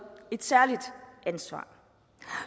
et særligt ansvar